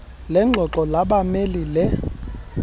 lengxoxo labameli le